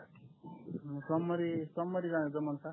मग सोमवारी सोमवारी जमल का